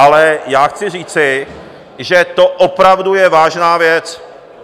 Ale já chci říci, že to opravdu je vážná věc.